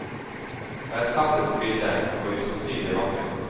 Det er et klassisk bilde, og usannsynlig vakkert.